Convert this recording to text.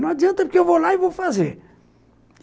Não adianta, porque eu vou lá e vou fazer.